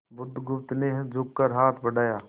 बुधगुप्त ने झुककर हाथ बढ़ाया